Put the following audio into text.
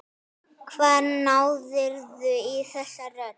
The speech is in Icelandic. Hvar náðirðu í þessa rödd?